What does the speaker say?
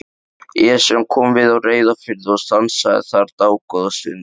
Esjan kom við á Reyðarfirði og stansaði þar dágóða stund.